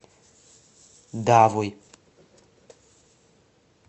давой